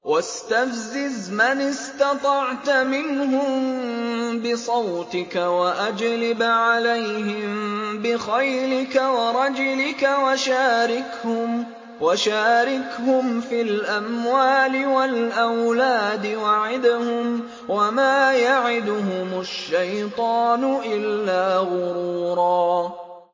وَاسْتَفْزِزْ مَنِ اسْتَطَعْتَ مِنْهُم بِصَوْتِكَ وَأَجْلِبْ عَلَيْهِم بِخَيْلِكَ وَرَجِلِكَ وَشَارِكْهُمْ فِي الْأَمْوَالِ وَالْأَوْلَادِ وَعِدْهُمْ ۚ وَمَا يَعِدُهُمُ الشَّيْطَانُ إِلَّا غُرُورًا